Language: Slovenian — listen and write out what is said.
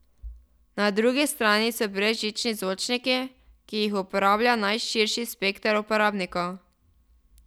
Na drugi strani so brezžični zvočniki, ki jih uporablja najširši spekter uporabnikov.